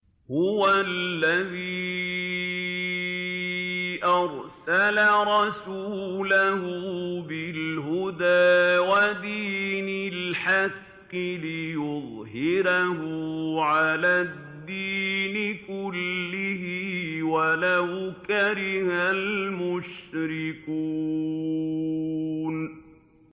هُوَ الَّذِي أَرْسَلَ رَسُولَهُ بِالْهُدَىٰ وَدِينِ الْحَقِّ لِيُظْهِرَهُ عَلَى الدِّينِ كُلِّهِ وَلَوْ كَرِهَ الْمُشْرِكُونَ